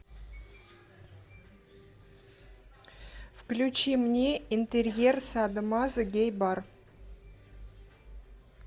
включи мне интерьер садо мазо гей бар